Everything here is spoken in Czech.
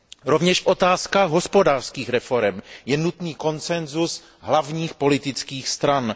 Rovněž v otázkách hospodářských reforem je nutný konsensus hlavních politických stran.